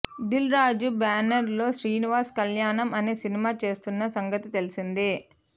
Dil Raju banner లో శ్రీనివాస కళ్యాణం అనే సినిమా చేస్తున్న సంగతి తెలిసిందే